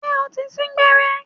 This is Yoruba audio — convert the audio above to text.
Ṣé o ti sín gbẹ́rẹ́?